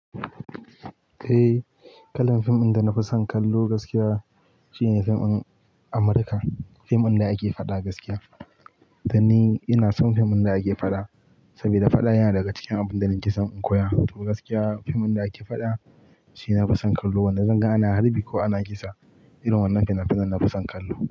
Eh, kalan fim in da na fi son kallo gaskiya shine fim in Amurka. Fim in da ake faɗa gaskiya. Dan ni ina son fim in da ake faɗa saboda faɗa yana daga cikin abun da nake son in koya. To gaskiya fim din da ake faɗa shi na fi son kallo. Wanda zan ga ana harbi ko ana kisa irin wannan fina-finan na fi son kallo.